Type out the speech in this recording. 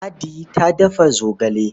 Ladi ta dafa zogale.